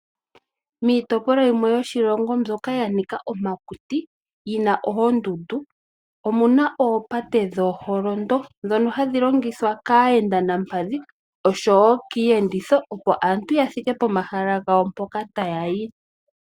Miitopolwa yimwe yoshilongo mbyoka ya Nika omakuti yina oondundu omuna oopate dho holondo dhono hadhi longithwa kaayenda nampadhi oshowo kiiyenditho opo aantu ya thike komahala yawo mpoka tayayi .